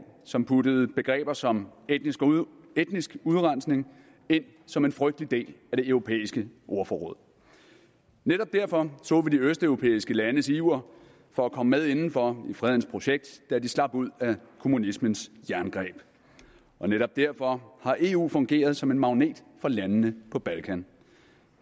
som puttede begreber som etnisk udrensning ind som en frygtelig del af det europæiske ordforråd netop derfor så vi de østeuropæiske landes iver for at komme med indenfor i fredens projekt da de slap ud af kommunismens jerngreb og netop derfor har eu fungeret som en magnet for landene på balkan